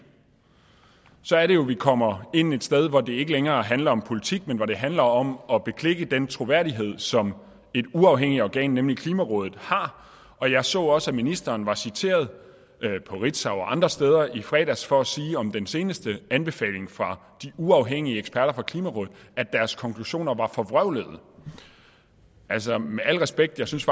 så er det jo vi kommer ind et sted hvor det ikke længere handler om politik men hvor det handler om at beklikke den troværdighed som et uafhængigt organ nemlig klimarådet har og jeg så også at ministeren var citeret på ritzau og andre steder i fredags for at sige om den seneste anbefaling fra de uafhængige eksperter fra klimarådet at deres konklusioner var forvrøvlede altså med al respekt synes